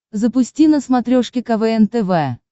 запусти на смотрешке квн тв